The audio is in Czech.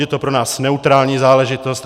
Je to pro nás neutrální záležitost.